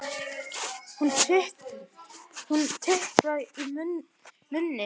Hún titrar í munni mér.